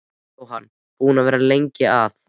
Jóhann: Búinn að vera lengi að?